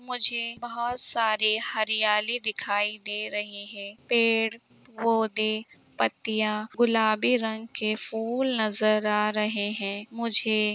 मुझे बहुत सारी हरियाली दिखाई दे रही है पेड़ पौधे पत्तिया गुलाबी रंग के फूल नजर आ रहे हैं। मुझे--